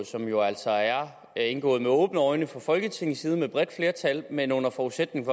som jo altså er indgået med åbne øjne fra folketingets side med et bredt flertal men under forudsætning